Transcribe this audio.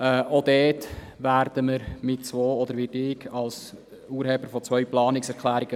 Ich habe diesbezüglich zwei Planungserklärungen eingereicht, aber ich werde mich später dazu äussern.